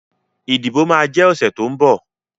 Ìdìbò máa jẹ ọ̀sẹ̀ tó ń bọ̀